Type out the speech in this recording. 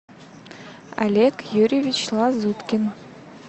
олег юрьевич лазуткин